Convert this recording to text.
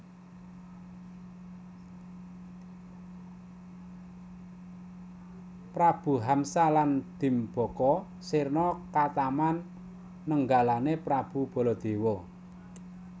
Prabu Hamsa lan Dimbaka sirna ketaman nenggalané Prabu Baladewa